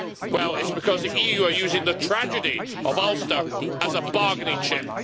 Well it is because the EU are using the tragedy of Ulster as a bargaining chip.